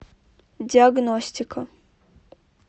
диагностика